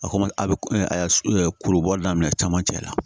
A ko ma a bɛ ko a kuru bɔli daminɛ camancɛ la